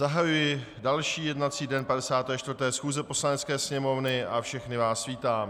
Zahajuji další jednací den 54. schůze Poslanecké sněmovny a všechny vás vítám.